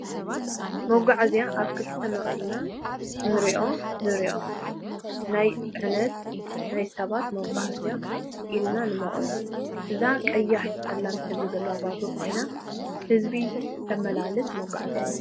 መጉዓዝያ ኣብ ክልተ መቂሊና ክንረኦ ንሪኦ ናይ ፅዕነት ናይ ሰባት መጉዓዝያን ኢልና ንመቅሎ እዛ ቀይሕ ፀሊም ሕብሪ ዘለዎ ባቡር ኮይና ህዝቢ ተመላልስ መጉዓዝያ እያ።